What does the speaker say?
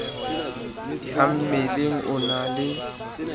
ya mmeleng o na le